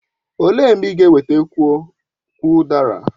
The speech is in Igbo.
Olee mgbe ị ga ewetakwu udara?